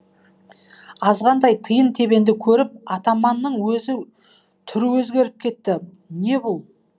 азғантай тиын тебенді көріп атаманның түрі өзгеріп кетті не бұл